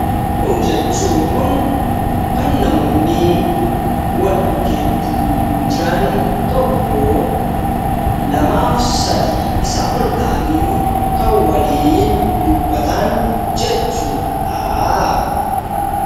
...jechuun kan namoonni walbukkeetti jiran tokkoo, lamaa fi sadii isaa ol ta'anii kan waliin dubbatan jechuu dha.